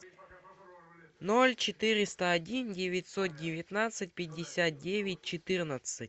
ноль четыреста один девятьсот девятнадцать пятьдесят девять четырнадцать